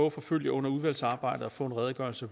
at forfølge under udvalgsarbejdet og få en redegørelse